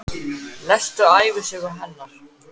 Lestu ævisögu hennar!